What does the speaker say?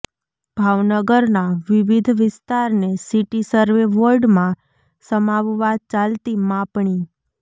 ભાવનગરના વિવિધ વિસ્તારને સિટી સર્વે વોર્ડમાં સમાવવા ચાલતી માપણી